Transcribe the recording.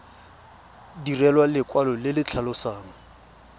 direlwa lekwalo le le tlhalosang